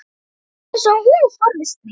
Það er eins og hún forðist mig